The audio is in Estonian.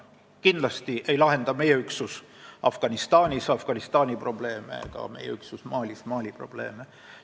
Kindlasti ei lahenda meie üksus Afganistanis Afganistani probleeme ega Malis Mali probleeme.